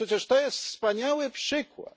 No przecież to jest wspaniały przykład